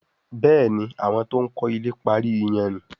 Béèni àwọn to'n kò ilè parí iyanrìn.